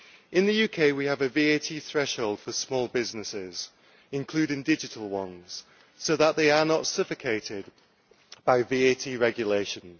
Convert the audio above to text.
In the UK we have a VAT threshold for small businesses, including digital ones, so that they are not suffocated by VAT regulations.